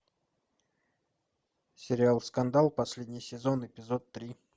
сериал скандал последний сезон эпизод три